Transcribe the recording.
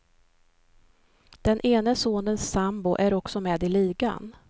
Den ene sonens sambo är också med i ligan.